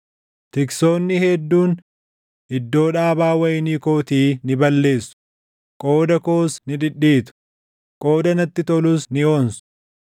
Tiksoonni hedduun iddoo dhaabaa wayinii kootii ni balleessu; qooda koos ni dhidhiitu; qooda natti tolus ni onsu.